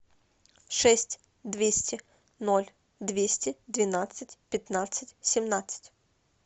шесть двести ноль двести двенадцать пятнадцать семнадцать